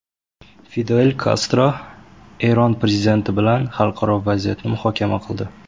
Fidel Kastro Eron prezidenti bilan xalqaro vaziyatni muhokama qildi.